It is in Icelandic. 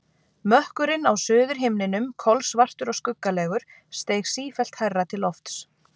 Mökkurinn á suðurhimninum, kolsvartur og skuggalegur, steig sífellt hærra til lofts.